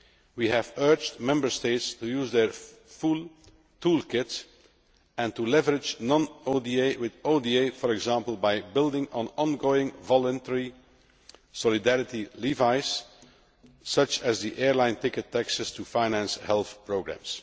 We have urged Member States to use their full tool kit and to leverage non ODA with ODA, for example, by building on ongoing voluntary solidarity levies such as the airline ticket taxes to finance health programmes.